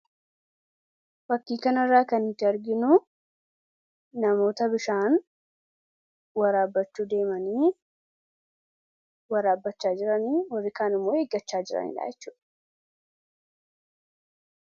fakkiikan irraa kan itti arginu namoota bishaan waraabachuu deemanii waraabbachaa jiranii horikaanimoo eeggachaa jiranii dhaachuu